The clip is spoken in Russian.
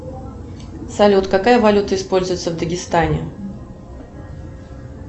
салют какая валюта используется в дагестане